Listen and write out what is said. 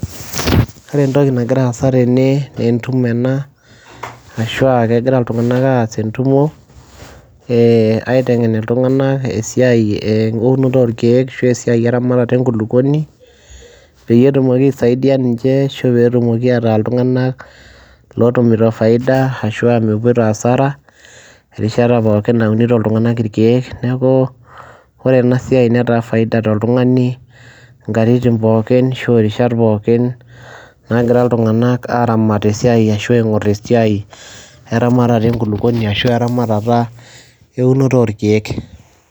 ore entoki nagira aasa tene naa entumo ena, ashu egira iltunganak aas entumo. aitengen iltunganak esiai, eee eunoto orkeek ashu esiai eramatat enkulupuoni, peyie etumoki aisaidia ninche ashu etumoki ataa iltunganak ootumito faida. ashu aa mepito asara erishata pookin naunito iltunganak irkee, neeku ore ena siai netaa faida toltungani nkatitin pookin ashu irishat pookin. naagira iltunaganak aaramat ashu aingor esiai, eramatat enkulupuoni. ashu eramatat eunoto oorkeek.